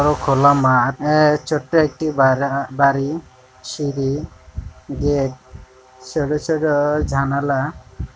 ও খোলা মাঠআ-আ- ছোট্ট একটি বারা বাড়িসিঁড়িগেট সরু সরু জানালা ।